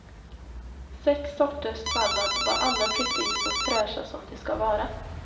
Sex sorters sallad var alla precis så fräscha som de ska vara.